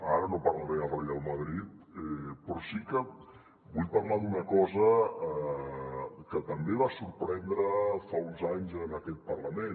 ara no parlaré del reial madrid però sí que vull parlar d’una cosa que també va sorprendre fa uns anys en aquest parlament